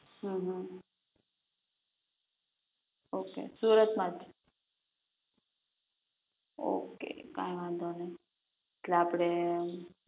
હમ okay Surat માંજ, okay કઈ વાંધો નહીં એટલે આપણે